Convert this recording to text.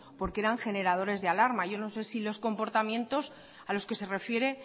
porque eran generadores de alarmas yo no sé si los comportamientos a los que se refiere